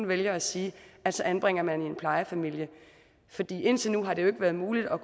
vælger at sige at så anbringer man barnet i en plejefamilie indtil nu har det jo ikke været muligt at